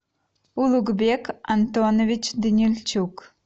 улугбек антонович данильчук